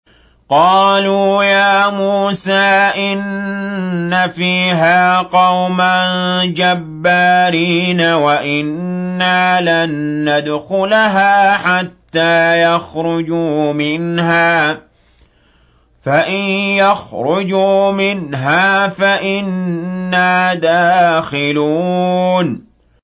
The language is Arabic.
قَالُوا يَا مُوسَىٰ إِنَّ فِيهَا قَوْمًا جَبَّارِينَ وَإِنَّا لَن نَّدْخُلَهَا حَتَّىٰ يَخْرُجُوا مِنْهَا فَإِن يَخْرُجُوا مِنْهَا فَإِنَّا دَاخِلُونَ